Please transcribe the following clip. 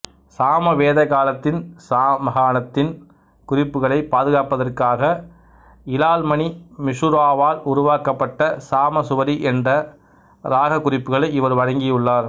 சாம வேத காலத்தின் சாமகானத்தின் குறிப்புகளைப் பாதுகாப்பதற்காக இலால்மணி மிசுராவால் உருவாக்கப்பட்ட சாமேசுவரி என்ற இராகக் குறிப்புகளை இவர் வழங்கியுள்ளார்